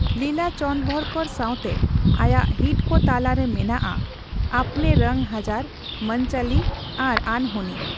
ᱞᱤᱞᱟ ᱪᱚᱱᱫᱵᱷᱚᱨᱠᱚᱨ ᱥᱟᱣᱛᱮ ᱟᱭᱟᱜ ᱦᱤᱴ ᱠᱚ ᱛᱟᱞᱟ ᱨᱮ ᱢᱮᱱᱟᱜᱼᱟ 'ᱟᱯᱱᱮ ᱨᱚᱝ ᱦᱟᱡᱟᱨ','ᱢᱚᱱᱪᱚᱞᱤ' ᱟᱨ 'ᱟᱱᱦᱳᱱᱤ' ᱾